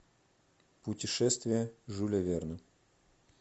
путешествие жюля верна